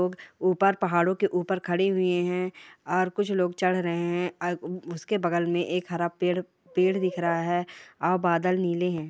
ऊपर पहाडों के ऊपर खड़े हुए हैं और कुछ लोग चढ़ रहे हैं और उसके बगल में एक हरा पेड़ पेड़ दिख रहा है और बदल नीले हैं।